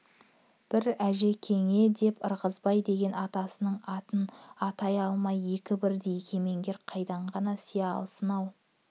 бір әжекеңе деп ырғызбай деген атасының атын атай алмай екі бірдей кемеңгер қайдан ғана сыя алсын-ау